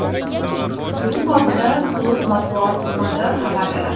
Bu haqda klub matbuot xizmati xabar beradi .